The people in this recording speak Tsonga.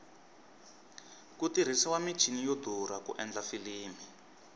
ku tirhisiwa michini yo durha ku endla filimi